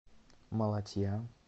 малатья